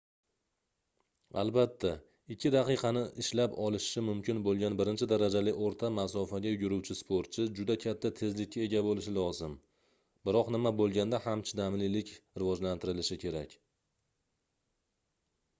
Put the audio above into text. albatta ikki daqiqani ishlab olishi mumkin boʻlgan birinchi darajali oʻrta masofaga yuguruvchi sportchi juda katta tezlikka ega boʻlishi lozim biroq nima boʻlganda ham chidamlilik rivojlantirilishi kerak